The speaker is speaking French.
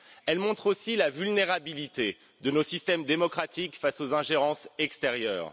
Elles montrent aussi la vulnérabilité de nos systèmes démocratiques face aux ingérences extérieures.